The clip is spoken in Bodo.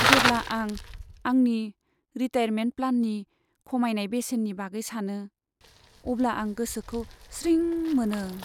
जेब्ला आं आंनि रिटायारमेन्ट प्लाननि खमायनाय बेसेननि बागै सानो, अब्ला आं गोसोखौ स्रिं मोनो।